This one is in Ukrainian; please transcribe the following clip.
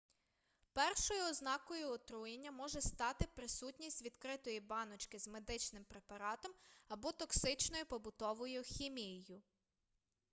першою ознакою отруєння може стати присутність відкритої баночки з медичним препаратом або токсичною побутовою хімією